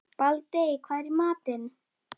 Baldey, hvað er í matinn?